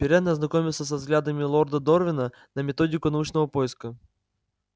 пиренн ознакомился со взглядами лорда дорвина на методику научного поиска